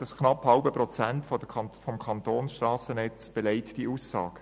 Das knapp halbe Prozent des Kantonsstrassennetzes belegt diese Aussage.